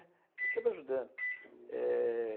Estar sempre ajudando. Eh...